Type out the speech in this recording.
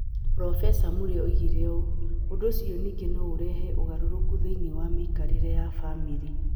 Profesa Murray ongereire ũũ: "Ũndũ ũcio ningĩ no ũrehe ũgarũrũku thĩinĩ wa mĩikarĩre ya famĩlĩ.